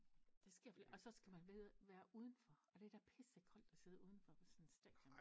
Der sker for lidt og så skal man væde være udenfor og det da pisse koldt at sidde udenfor på sådan et stadion